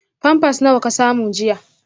Pamper nawa ka samu jiya?